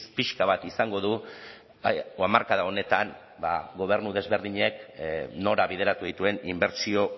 pixka bat izango du o hamarkada honetan ba gobernu desberdinek nora bideratu dituen inbertsio